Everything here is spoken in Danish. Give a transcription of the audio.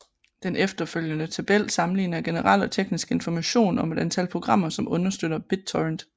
Den følgende tabel sammenligner generel og teknisk information om et antal programmer som understøtter BitTorrent